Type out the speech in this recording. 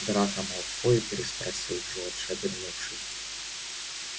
драко малфой переспросил джордж обернувшись